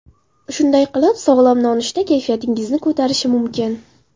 Shunday qilib, sog‘lom nonushta kayfiyatingizni ko‘tarishi mumkin.